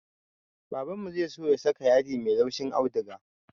Babanmu zai so ya saka yadi mai laushin auduga